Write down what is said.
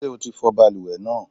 Ṣé o ti fọ balùwẹ̀ náà?